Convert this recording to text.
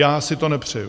Já si to nepřeju.